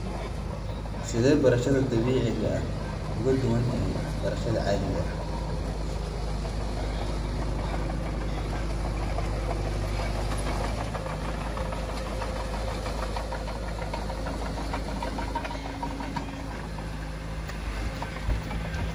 Sidee beerashada dabiiciga ah ugu duwaan tahay beerashada caadiga ah.